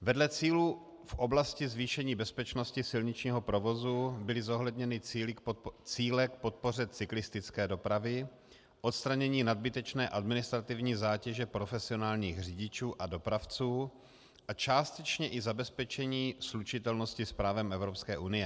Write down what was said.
Vedle cílů v oblasti zvýšení bezpečnosti silničního provozu byly zohledněny cíle k podpoře cyklistické dopravy, odstranění nadbytečné administrativní zátěže profesionálních řidičů a dopravců a částečně i zabezpečení slučitelnosti s právem Evropské unie.